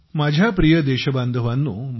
माझ्या प्रिय देशबांधवांनो